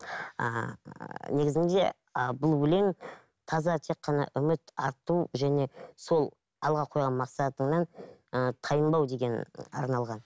ааа негізінде ы бұл өлең таза тек қана үміт арту және сол алға қойған мақсатыңнан ы тайынбау деген арналған